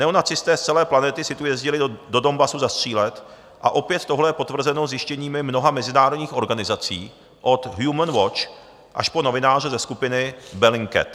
Neonacisté z celé planety si tu jezdili do Donbasu zastřílet a opět tohle je potvrzeno zjištěními mnoha mezinárodních organizací od Human Watch až po novináře ze skupiny Bellingcat.